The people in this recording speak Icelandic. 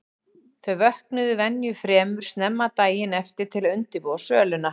Þau vöknuðu venju fremur snemma daginn eftir til að undirbúa söluna.